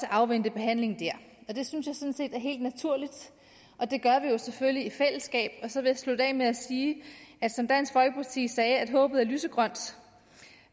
afvente behandlingen der det synes jeg sådan er helt naturligt og det gør vi jo selvfølgelig i fællesskab så vil jeg slutte af med at sige som dansk folkeparti sagde at håbet er lysegrønt og